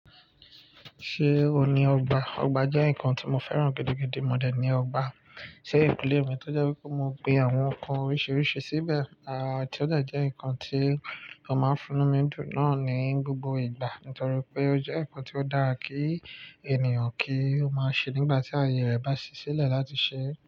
Ṣé o ní ọgbà? Ọgbà jẹ́ nǹkan tí mo fẹ́ràn gidi, gidi mọ̀ọ́ dẹ̀ ni ọgbà. Ṣe eyin kule mi tó jẹ́ wípé mo gbin àwọn ǹkan oríṣiríṣi síbẹ̀. Ti ó jẹ́ jẹ́ ǹkan tí ó máa ń fúnni mi náà ní gbogbo ìgbà nítorí pé ó jẹ́ ǹkan tí ó dára kí ènìyàn kí ó máa ṣe nígbà tí ayé rẹ̀ bá ṣiṣẹ́lẹ̀ láti ṣe.